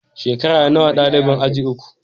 Shekara nawa dalibin aji uku?